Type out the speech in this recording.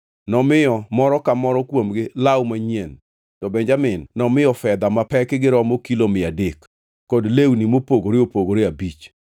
Nomiyo moro ka moro kuomgi law manyien to Benjamin nomiyo fedha mapekgi oromo kilo mia adek kod lewni mopogore opogore abich.